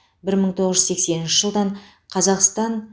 бір мың тоғыз жүз сексенінші жылдан қазақстан